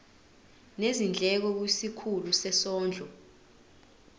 nezindleko kwisikhulu sezondlo